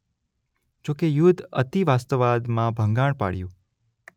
જોકે યુદ્ધ અતિવાસ્તવાદમાં ભંગાણ પાડયું